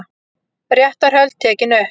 Réttarhöld tekin upp